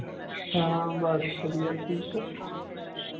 ਹਾਂ ਬਸ ਵਧੀਆ ਠੀਕ ਹੈ